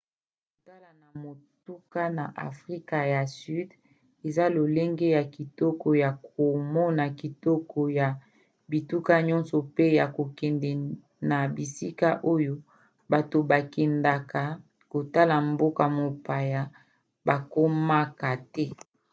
kokota na motuka na afrika ya sud eza lolenge ya kitoko ya komona kitoko ya bituka nyonso mpe ya kokende na bisika oyo bato bakendaka kotala mboka-mopaya bakomaka te